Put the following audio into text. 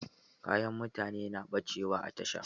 Kayan mutane na ɓacewa a tasha.